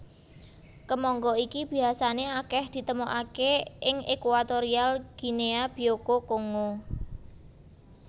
Kemangga iki biasané akèh ditemokaké ing Equatorial Guinea Bioko Kongo